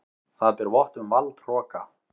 Það ber vott um valdhroka.